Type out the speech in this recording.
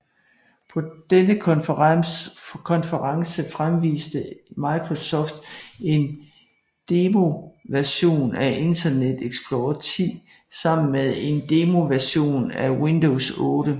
På denne konference fremviste Microsoft en demoversion af Internet Explorer 10 sammen med en demoversion af Windows 8